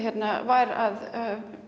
var að